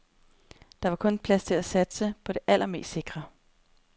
Der var kun plads til at satse på det allermest sikre.